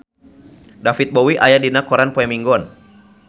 David Bowie aya dina koran poe Minggon